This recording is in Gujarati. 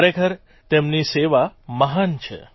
ખરેખર તેમની સેવા મહાન છે